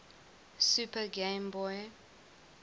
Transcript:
super game boy